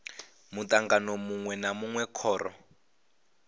mutangano munwe na munwe khoro